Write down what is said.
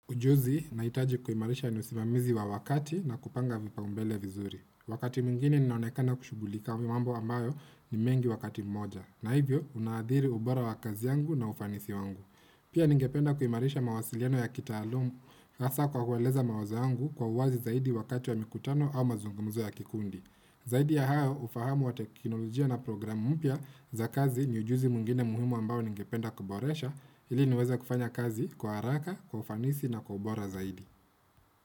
Ujuzi, nahitaji kuimarisha ni usimamizi wa wakati na kupanga vipaumbele vizuri. Wakati mwingine ninaonekana kushugulika mambo ambayo ni mengi wakati mmoja. Na hivyo, unaathiri ubora wa kazi yangu na ufanisi wangu. Pia ningependa kuimarisha mawasiliano ya kitaalam, hasa kwa kueleza mawazo yangu kwa uwazi zaidi wakati wa mikutano au mazungumzo ya kikundi. Zaidi ya hayo, ufahamu wa teknolojia na program mpya za kazi ni ujuzi mwingine muhimu ambayo ningependa kuboresha, ili niweze kufanya kazi kwa haraka, kwa ufanisi na kwa ubora zaidi.